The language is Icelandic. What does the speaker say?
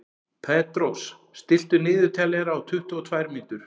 Petrós, stilltu niðurteljara á tuttugu og tvær mínútur.